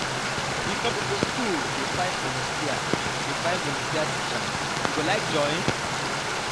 di community skool dey find volunteer dey find volunteer teachers you go like join?